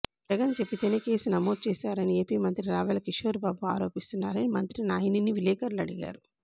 జగన్చెబితేనే case నమోదు చేశారని AP మంత్రి రావెల కిషోర్ బాబు ఆరోపిస్తున్నారని మంత్రి నాయినిని విలేకరులు అడిగారు